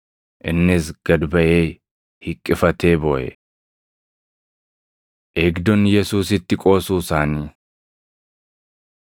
Innis gad baʼee hiqqifatee booʼe. Eegdonni Yesuusitti Qoosuu Isaanii 22:63‑65 kwf – Mat 26:67,68; Mar 14:65; Yoh 18:22,23